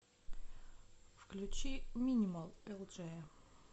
включи минимал элджея